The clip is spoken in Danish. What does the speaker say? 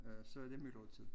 Øh så det myldretid